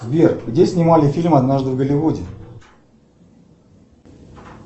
сбер где снимали фильм однажды в голливуде